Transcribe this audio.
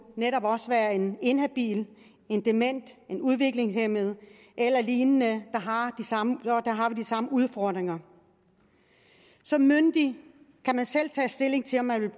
netop også være en inhabil en dement en udviklingshæmmet eller lignende der har vi de samme udfordringer som myndig kan man selv tage stilling til om man vil